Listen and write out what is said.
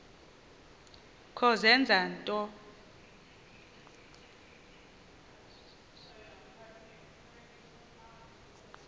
kho zenza nto